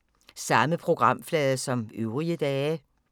Samme programflade som øvrige dage